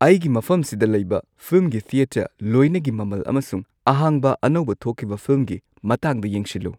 ꯑꯩ ꯒꯤ ꯃꯐꯝꯁꯤꯗ ꯂꯩꯕ ꯐꯤꯜꯝꯒꯤ ꯊꯤꯌꯦꯇꯔ ꯂꯣꯏꯅꯒꯤ ꯃꯃꯜ ꯑꯃꯁꯨꯡ ꯑꯍꯥꯡꯕ ꯑꯅꯧꯕ ꯊꯣꯛꯈꯤꯕ ꯐꯤꯜꯝꯒꯤ ꯃꯇꯥꯡꯗ ꯌꯦꯡꯁꯤꯜꯂꯨ